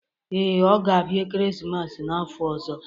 Ee, ọ ga-abịa ekeresimesi n'afọ ọzọ